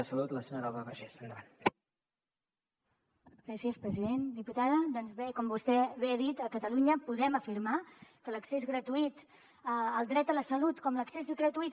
diputada doncs bé com vostè bé ha dit a catalunya podem afirmar que l’accés gratuït al dret a la salut com l’accés gratuït